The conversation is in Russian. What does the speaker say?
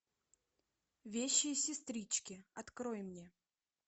вещие сестрички открой мне